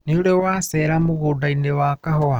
Nĩũrĩ wacera mũgũndainĩ wa kahũa.